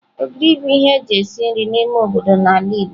Ogiri bu ihe eji esi nri n'ime obodo n'ala Igbo.